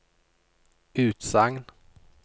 utsagn